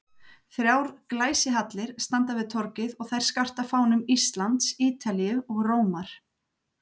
Þrjár glæsihallir standa við torgið og þær skarta fánum Íslands, Ítalíu og Rómar.